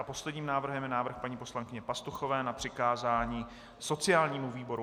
A posledním návrhem je návrh paní poslankyně Pastuchové na přikázání sociálnímu výboru.